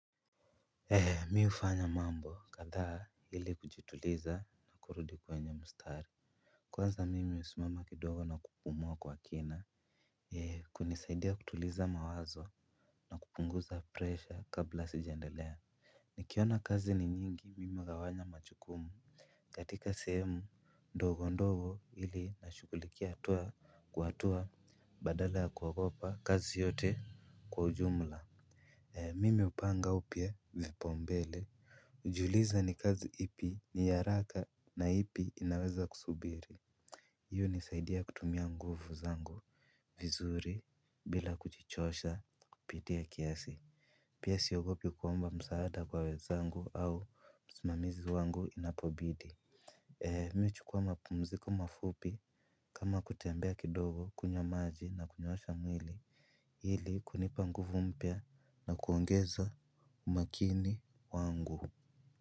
Mi ufanya mambo kadhaa ili kujituliza na kurudi kwenye mustari. Kwanza mimi usimama kidogo na kupumua kwa kina. Kunisaidia kutuliza mawazo na kupunguza presha kabla sijaendelea. Nikiona kazi ni nyingi mimi ugawanya machukumu. Katika sehemu ndogo ndogo ili nashukulikia hatua kwa hatua badala ya kuagopa kazi yote kwa ujumla. Mimi upanga upya vipa umbele. Ujiuliza ni kazi ipi ni haraka na ipi inaweza kusubiri. Hiyo unisaidia kutumia nguvu zangu vizuri bila kujichosha kupitia kiasi. Pia siogopi kuomba msaada kwa wenzangu au msimamizi wangu inapobidi. Mi huchukuwa mapumziko mafupi kama kutembea kidogo kunywa maji na kunyoosha mwili. Hili kunipa nguvu mpya na kuongeza umakini wangu.